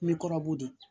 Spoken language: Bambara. N bɛ kɔrɔbɔrɔ de